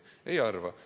Me nii ei arva.